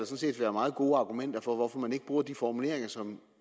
set være meget gode argumenter for at man ikke bruger de formuleringer som